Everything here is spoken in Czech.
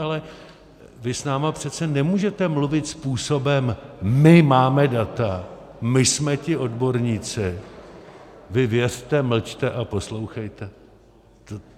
Ale vy s námi přece nemůžete mluvit způsobem - my máme data, my jsme ti odborníci, vy věřte, mlčte a poslouchejte.